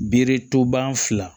Bere toban fila